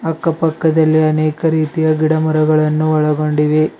ಅಕ್ಕ ಪಕ್ಕದ ಅನೇಕ ರೀತಿಯ ಗಿಡ ಮರಗಳನ್ನು ಒಳಗೊಂಡಿವೆ.